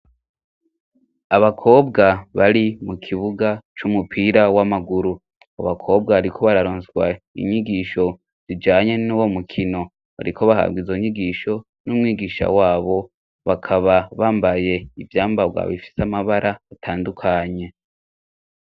Abakobwa bari mu kibuga c'umupira w'amaguru. Abo bakobwa ariko bararonswa inyigisho zijanye n'uwo mukino. Bariko bahabwa izo nyigisho n'umwigisha wabo. Bakaba bambaye ivyambarwa bifise amabara atandukanye.